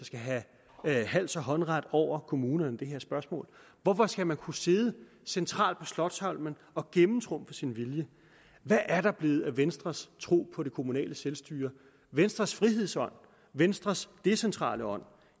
have hals og håndsret over kommunerne i det her spørgsmål hvorfor skal man kunne sidde centralt på slotsholmen og gennemtrumfe sin vilje hvad er der blevet af venstres tro på det kommunale selvstyre venstres frihedsånd venstres decentrale ånd